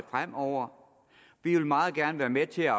fremover vi vil meget gerne være med til at